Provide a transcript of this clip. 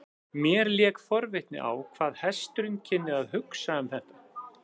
Mér lék forvitni á hvað hesturinn kynni að hugsa um þetta.